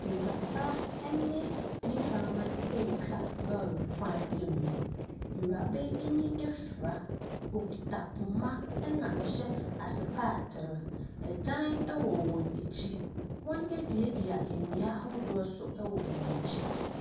Ewuraba ɛne ne kraman ɛretwa lorry kwan no mu awuraba no ani afira ɔkura poma na ɔhyɛ asetatere ɛdan ɛwɔ wɔn akyi wɔn adua dua nnua ahodoɔ nso wɔ wɔn akyi.